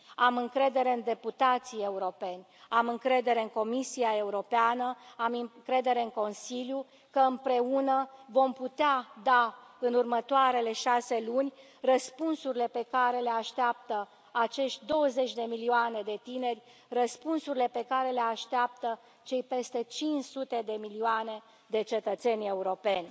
Am încredere în deputații europeni, am încredere în Comisia Europeană, am încredere în Consiliu că, împreună, vom putea da în următoarele șase luni răspunsurile pe care le așteaptă acești douăzeci de milioane de tineri, răspunsurile pe care le așteaptă cei peste cinci sute de milioane de cetățeni europeni.